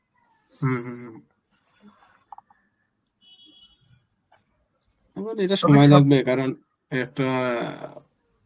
হম হম. এবার এটা সময় লাগবে কারণ এর একটা